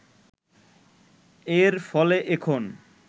এর ফলে এখন